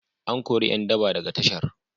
An kori ƴan daba daga tashar.